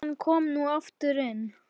Konan kom nú aftur inn.